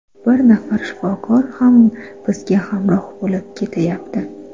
Bir nafar shifokor ham bizga hamroh bo‘lib ketayapti.